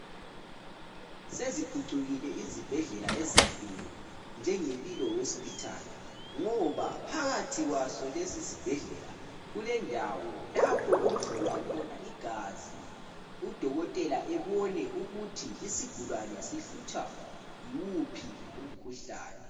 Seziphucukile izibhedlela ezinkulu njenge Mpilo Hosipithali, ngoba phakathi kwaso lesi sibhedlela kulendawo lapho okuhlolwa khona igazi udokotela ebone ukuthi isigulane sihlutshwa yiwuphi umkhuhlane.